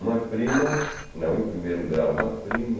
Uma prima, não em primeiro grau, uma prima.